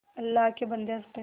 अल्लाह के बन्दे हंस दे